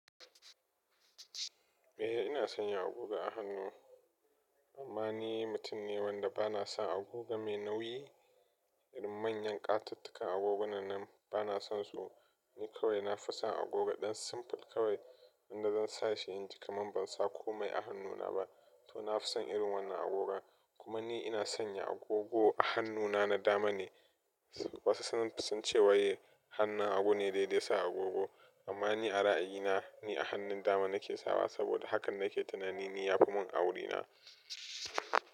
Eh ina sanya agogo a hannu, amma ni mutum ne wanda bana sa agogo mai nauyi. Irin manyan ƙatattakan agogona nan, bana son su. Ni kawai na fi son agogo ɗan simple kawai, wanda zan sa shi inji kaman ban sa komai a hannuna ba, to na fi son irin wannan agoga. Kuma ni ina sanya agogo a hannuna na dama ne. Wasu sun son ce wai, hannun hagu ne daidai sa agogo, amma ni a ra'ayina ni a hannun dama na ke sawa saboda hakan na ke tunanin ya fi mun auri na.